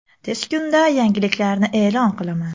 Tez kunda yangiliklarni e’lon qilaman.